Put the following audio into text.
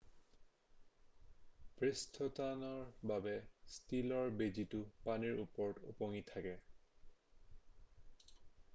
পৃষ্ঠটানৰ বাবে ষ্টীলৰ বেজিটো পানীৰ ওপৰত ওপঙি থাকে